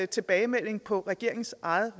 tilbagemelding på regeringens eget